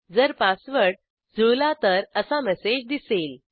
जर पासवर्ड जुळला तर असा मेसेज दिसेल